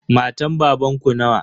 Matan babanku nawa?